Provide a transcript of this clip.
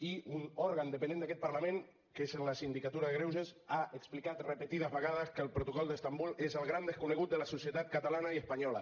i un òrgan dependent d’aquest parlament que és la sindicatura de greuges ha explicat repetides vegades que el protocol d’istanbul és el gran desconegut de la societat catalana i espanyola